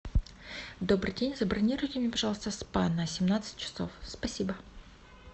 добрый день забронируйте мне пожалуйста спа на семнадцать часов спасибо